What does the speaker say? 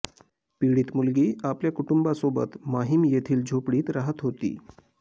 पीडित मुलगी आपल्या कुटुंबासोबत माहीम येथील झोपडीत राहत होती